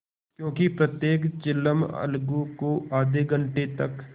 क्योंकि प्रत्येक चिलम अलगू को आध घंटे तक